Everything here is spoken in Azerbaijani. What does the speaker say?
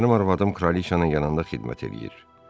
Mənim arvadım Kraliçanın yanında xidmət eləyir.